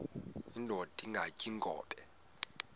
indod ingaty iinkobe